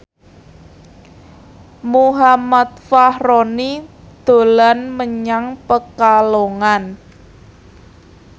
Muhammad Fachroni dolan menyang Pekalongan